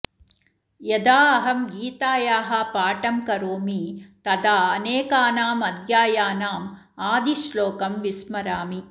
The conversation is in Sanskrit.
यदा अहं गीतायाः पाठं करोमि तदा अनेकानां अध्यायानाम् आदिश्लोकं विस्मरामि